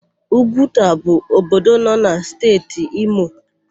Ugwuta bụ obodo nọ na Steeti Imo.